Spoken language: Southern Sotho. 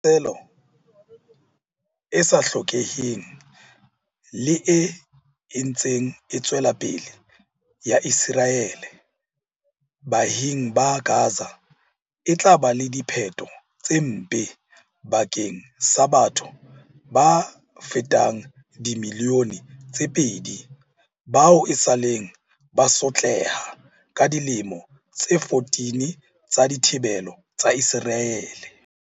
Tlhaselo e sa hlokeheng le e ntseng e tswela pele ya Ise raele baahing ba Gaza e tla ba le diphetho tse mpe bakeng sa batho ba fetang dimili yone tse pedi bao esaleng ba sotleha ka dilemo tse 14 tsa dithibelo tsa Iseraele.